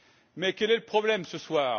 Mais quel est le problème ce soir?